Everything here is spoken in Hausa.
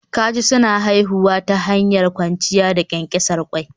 Kaji suna haifuwa ta hanyar kwanciya da ƙyanƙyasar ƙwai